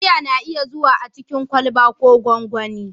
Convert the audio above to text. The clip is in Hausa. Giya na iya zuwa a cikin kwalba ko gonggoni.